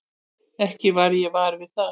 Ekki varð ég var við það.